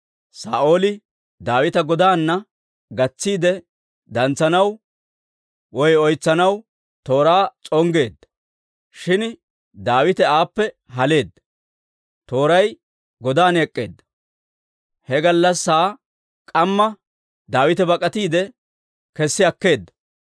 Saa'ooli Daawita godaana gatsiide Dantsanaw (oytsanaw) tooraa s'onggeedda; shin Daawite aappe haleedda; tooray godan ek'k'eedda. He gallassaa k'amma Daawite bak'atiide kessi akkeedda.